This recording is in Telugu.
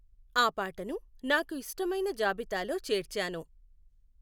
ఆ పాటను నాకు ఇష్టమైన జాబితాలో చేర్చాను